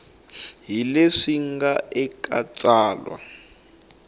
hi leswi nga eka tsalwa